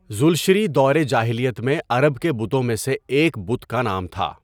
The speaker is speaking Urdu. ذو الشـری دور جاہلیت میں عرب کے بتوں میں سے ایک بت کا نام تھا.